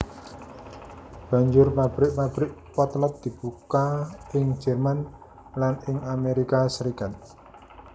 Banjur pabrik pabrik potlot dibuka ing Jerman lan ing Amerika Serikat